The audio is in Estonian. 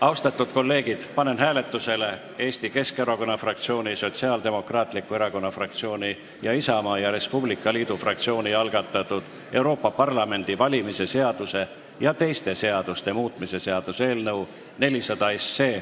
Austatud kolleegid, panen hääletusele Eesti Keskerakonna fraktsiooni, Sotsiaaldemokraatliku Erakonna fraktsiooni ning Isamaa ja Res Publica Liidu fraktsiooni algatatud Euroopa Parlamendi valimise seaduse ja teiste seaduste muutmise seaduse eelnõu 400.